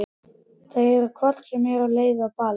Þau eru hvort sem er á leið á ball.